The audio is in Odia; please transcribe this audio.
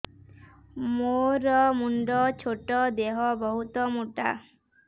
ମୋର ମୁଣ୍ଡ ଛୋଟ ଦେହ ବହୁତ ମୋଟା